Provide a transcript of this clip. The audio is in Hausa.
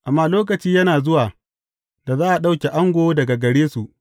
Amma lokaci yana zuwa, da za a ɗauke ango daga gare su.